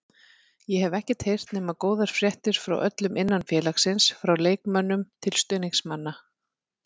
Ég hef ekkert heyrt nema góðar fréttir frá öllum innan félagsins, frá leikmönnum til stuðningsmanna.